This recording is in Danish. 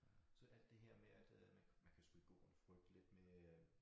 Så alt det her med at øh man kan man kan selvfølgelig gå og frygte lidt med øh